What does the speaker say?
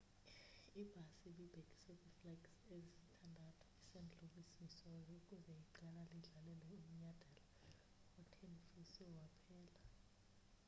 ibhasi ibibhekiswe kwiflegs ezisithandathu est louis emissouri ukuze iqela lidlalele umnyadala othenfiswe waphela